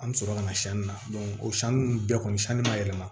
An bɛ sɔrɔ ka na sanni na o sanni ninnu bɛɛ kɔni sanni ma yɛlɛma